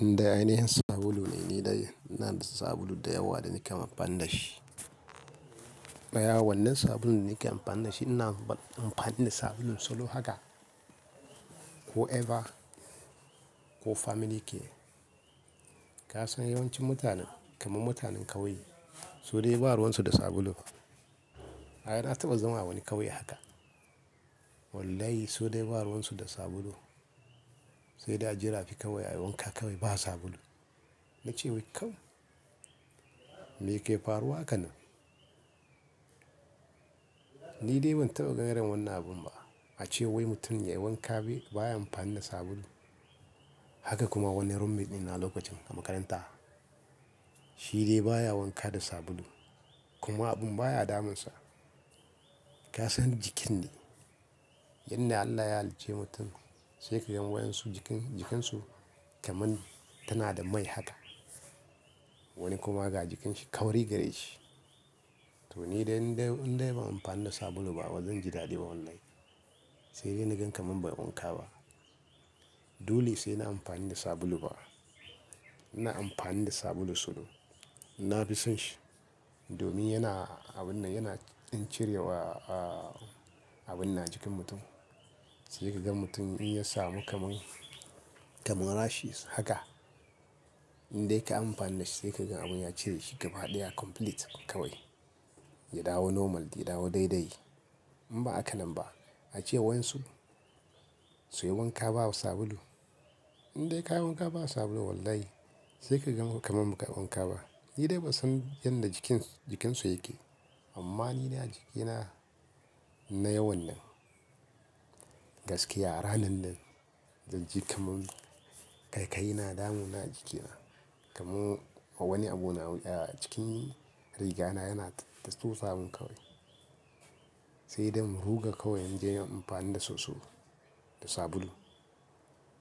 Nida ainihin sabulu ne ni dai ina da sabulu da yawa da nake amfani da shi. Ɗaya wannan sabulun da nake amfani da shi ina amfani da sabulun Solo haka ko ever ko family care. Ka san yawancin mutane kamar mutanen ƙauye, su dai ba ruwan su da sabulu. Ai na taɓa zama a wani ƙauye haka. Wallahi su dai ba'a ruwan su da sabulu. Sai dai aje rafi kawai a yi wanka kawai ba sabulu. Nace wai, kai, me ke faruwa haka ne? Ni dai ban taɓa ganin irin wannan abun ba. A ce wai mutum yayi wanka baya amfani da sabulu. Haka kuma wani roommate ɗina lokacin makaranta, shi dai baya wanka da sabulu kuma abun baya damunsa. Ka san jikin ne, inda Allah ya hallice mutum sai ka ga wa'yansu, jikin, jikinsu kamar tana da mai haka. Wani kuma ga jikin shi kauri gare shi. To ni dai, in dai, in dai ban amfani da sabulu ba bazan ji daɗi ba wallahi. Sai dai na gan kamar bai wanka ba. Dole sai nayi amfani da sabulu fa. Ina amfani da sabulun Solo. Nafi son shi domin yana abun nan yana ƙin cirewa, ah, abun nan a jikin mutum. Sai ka ga mutum in ya samu kamar, kamar rashes haka, in dai kayi amfani da shi sai ka ga abun ya cire shi gaba ɗaya complete kawai. Ya dawo normal, ya dawo daidai. In ba haka nan ba, ace wai waƴansu suyi wanka ba sabulu. In dai kayi wanka ba sabulu wallahi sai ka ganka kamar baka yi wanka ba. Ni dai ban san yanda jikin, jikin su yake ba, amma ni na, jikina nayi wannan. Gaskiya a ranar nan, zan ji kamar ƙaiƙayi na damuna a jikina. Kamar wani abu na wuya a cikin riga na yana ta susa min kawai. Sai dai in ruga kawai inje in yi amfani da soso da sabulu.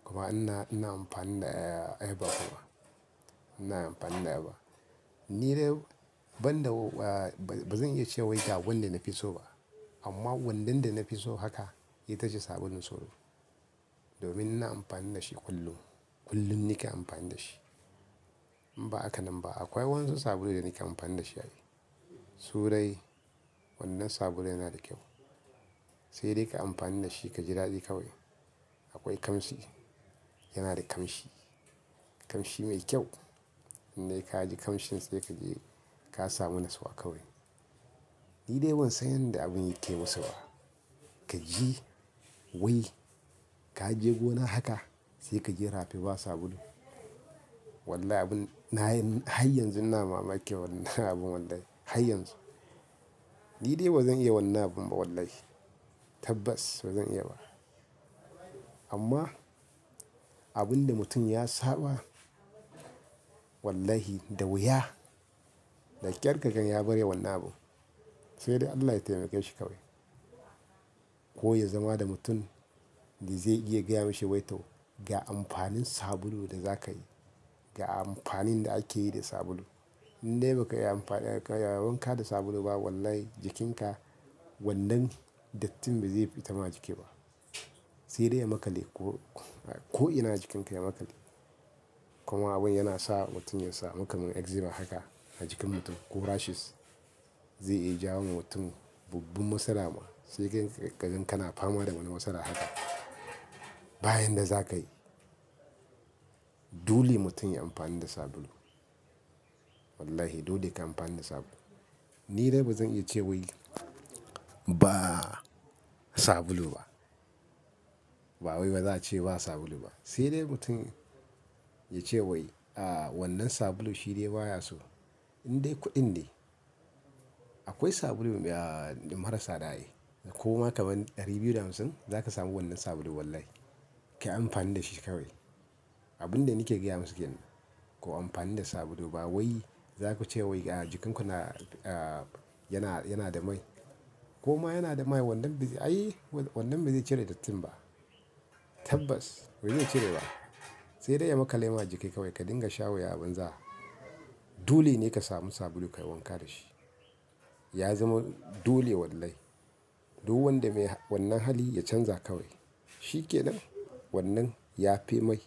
Kuma ina, ina amfani da, ah, airbag kuma. Ina amfani da airbag. Ni dai banda, ah, bazan iya ce wai ga wanda nafi so ba amma wannan da nafi so haka ita ce sabulun Solo. Domin ina amfani da shi kullum. Kullum nake amfani da shi. In ba haka nan ba akwai waƴan su sabulu da nake amfani da shi ai. Su dai, wannan sabulun yana da kyau. Sai dai ka amfani da shi ka ji daɗi kawai. Akwai ƙamshi, yana da ƙamshi, ƙamshi mai kyau. In dai ka ji ƙamshin sai ka ji ka samu natsuwa kawai. Ni dai ban san yanda abin yake musu ba. Ka ji wai ka je gona haka sai ka je rafi ba sabulu. Wallahi abun na, har yanzu ina mamakin wannan abun wallahi har yanzu. Ni dai bazan iya wannan abun ba wallahi. Tabbas ba zan iya ba. Amma abinda mutum ya saba wallahi da wuya da ƙyar kaga ya bar yin wannan abu. Sai dai Allah ya taimake shi kawai. Ko ya zama da mutum da zai iya gaya mishi wai to, ga amfanin sabulu da za ka yi, ga amfanin da ake yi da sabulu. In dai ba kayi amfani da, ka yi wanka da sabulu ba, wallahi jikinka wannan dattin ba zai fita ma a jiki ba. Sai dai ya maƙale ko, ko ina a jikinka ya maƙale. Kuma abun yana sa mutum ya samu kamar eczema haka a jikin mutum ko rashes zai iya jawo wa mutum babban matsala ma. Sai ka gan kana fama da wani matsala haka, ba yanda zaka yi. Dole mutum yayi amfani da sabulu. Wallahi dole ka amfani da sabulu. Ni dai bazan iya ce wai ba sabulu ba. Ba wai baza ace ba sabulu ba. Sai dai mutum ya ce wai, ah, wannan sabulu shi dai baya so. In dai kuɗin ne, akwai sabulu, ah, ɗin mara tsada ai. Kuma kamar ɗari biyu da hamsin zaka samu wannan sabulun wallahi. Kayi amfani da shi kawai. Abinda nake gaya musu kenan, kuyi amfani da sabulu, ba wai zaku ce wai, ah, jikinku na, ah, yana, yana da mai. Koma yana da mai wannan, ai wannan bazai cire dattin ba. Tabbas ba zai cire ba. Sai dai ya maƙale ma jiki kawai ka dinga shan wuya a banza. Dole ne ka samu sabulu kayi wanka da shi. Ya zama dole wallahi. Duk wanda, mai wannan hali ya canza kawai. Shi kenan, wannan yafi mai.